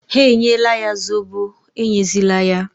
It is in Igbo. Ha enyela ya Zobo, enyezila ya!